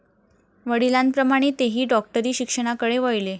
वडिलांप्रमाणे तेही डॉक्टरी शिक्षणाकडे वळले.